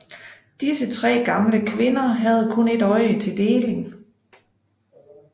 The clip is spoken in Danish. Disse tre gamle kvinder havde kun et øje til deling